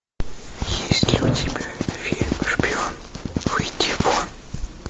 есть ли у тебя фильм шпион выйди вон